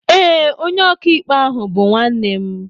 Ee, onye ọkàikpe ahụ bú nwanne m